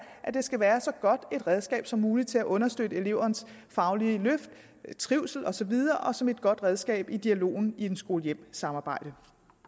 at det skal være så godt et redskab som muligt til at understøtte elevens faglige løft trivsel og så videre og som et godt redskab i dialogen i skole hjem samarbejdet